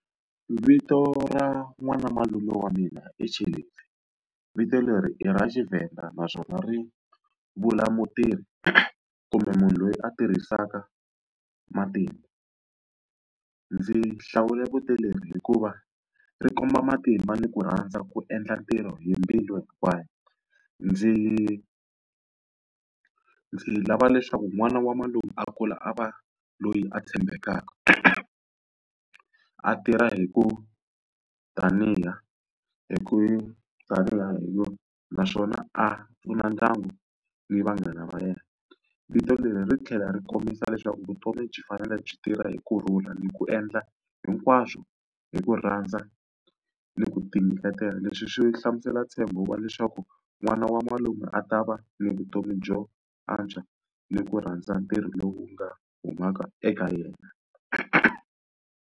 Vito ra n'wina malume wa mina i , vito leri i ra xiVenda naswona ri vula mutirhi, kumbe munhu loyi a tirhisaka matimba. Ndzi hlawule vito leri hikuva ri komba matimba ni ku rhandza ku endla ntirho hi mbilu hinkwayo. Ndzi ndzi lava leswaku n'wana wa malume a kula a va loyi a tshembekaka, a tirha hi ku hi ku naswona a pfuna ndyangu ni vanghana va yena. Vito leri ri tlhela ri kombisa leswaku vutomi byi fanele byi tirha hi kurhula ni ku endla hinkwaswo hi ku rhandza ni ku tinyiketela. Leswi swi hlamusela ntshembo wa leswaku n'wana wa malume a ta va ni vutomi byo antswa ni ku rhandza ntirho lowu nga humaka eka yena.